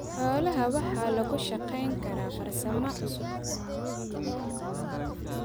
Xoolaha waxa lagu shaqayn karaa farsamo cusub.